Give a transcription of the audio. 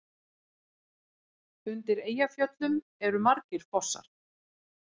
Undir Eyjafjöllum eru margir fossar.